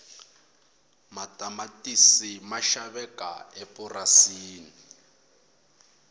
matamatisi ma xaveka emapurasini